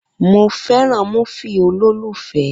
Mo fẹ́ràn múfì olólùfẹ́